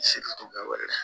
Selitu bɛɛ wolola